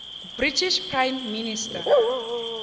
british prime minister